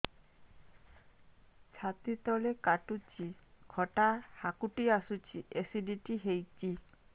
ଛାତି ତଳେ କାଟୁଚି ଖଟା ହାକୁଟି ଆସୁଚି ଏସିଡିଟି ହେଇଚି